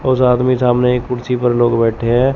और साथ में ही सामने एक कुर्सी पर लोग बैठे हैं।